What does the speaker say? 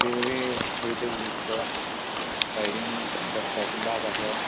रेल्वे वैताकहि दिसता साइडीन बसपाचे बाक आसा.